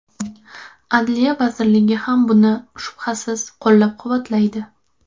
Adliya vazirligi ham buni, shubhasiz, qo‘llab-quvvatlaydi.